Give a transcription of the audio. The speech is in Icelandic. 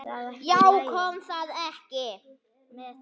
Já, kom það ekki!